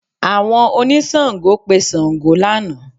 Àwọn oníṣàngó pe Ṣàngó lánàá